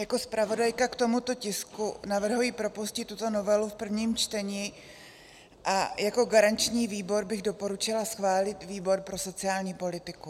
Jako zpravodajka k tomuto tisku navrhuji propustit tuto novelu v prvním čtení a jako garanční výbor bych doporučila schválit výbor pro sociální politiku.